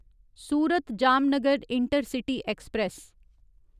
Surat Jamnagar intercity express